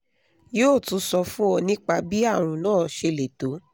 yóò tún sọ fún ọ nípa bí àrùn náà ṣe le tó